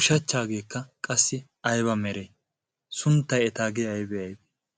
ushachchaageekka qassi ayba mere sunttay etaagee aybe aybee